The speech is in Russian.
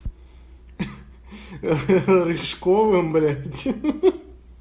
ха-ха школа блять ха-ха